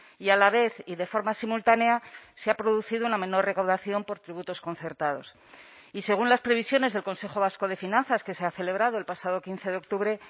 y a la vez y de forma simultánea se ha producido una menor recaudación por tributos concertados y según las previsiones del consejo vasco de finanzas que se ha celebrado el pasado quince de octubre